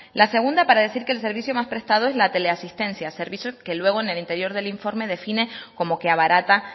la segunda para decir que el servicio más prestado es la teleasistencia servicio que luego en el interior del informe define como que abarata